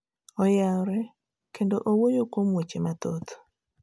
oyaore kendo owuoyo kuom weche mathoth